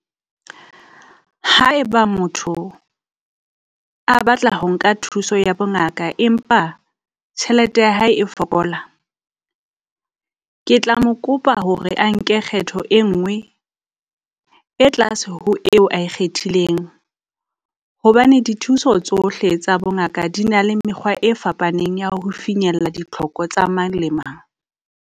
Haeba motho a batla ho nka thuso ya bongaka, empa tjhelete ya hae e fokola, ke tla mo kopa hore a nke kgetho e nngwe e tlase ho eo ae kgethileng. Hobane dithuso tsohle tsa bongaka di na le mekgwa e fapaneng ya ho finyella ditlhoko tsa mang le mang.